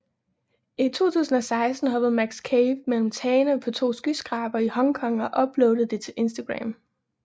I 2016 hoppede Max Cave mellem tagene på to skyskrabere i Hong Kong og uploadede det til Instagram